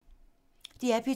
DR P2